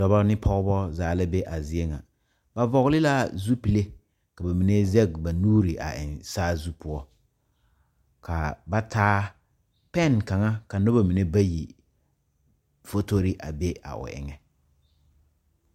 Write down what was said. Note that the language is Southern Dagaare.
Dɔba ne pɔgeba zaa la be a zie ŋa ba vɔgle la zupile ka ba mine zɛge ba nuuri a eŋ saazu poɔ ka ba taa pɛne kaŋa ka noba mine bayi fotori a be a o eŋɛ.